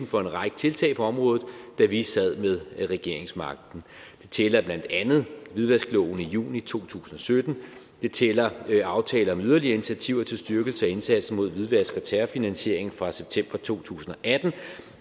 for en række tiltag på området da vi sad med regeringsmagten det tæller blandt andet hvidvaskloven i juni to tusind og sytten og det tæller aftale om yderligere initiativer til styrkelse af indsatsen mod hvidvask og terrorfinansiering fra september to tusind og atten